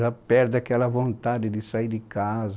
Já perde aquela vontade de sair de casa.